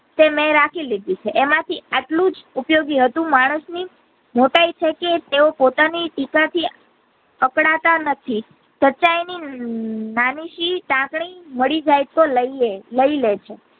તે મેં રાખી લીઘી છે તેમાંથી એટલું જ ઉપયોગી હતું માણસ ની મોટાઈ છે કે તેવો પોતા ની ટીકા થી અકડાતા નથી સંચાયની નાની સી ટાંકણી મળી જાય તો લઈલે લઈલે છે.